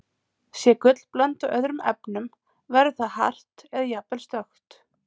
Sé gull blandað öðrum efnum, verður það hart eða jafnvel stökkt.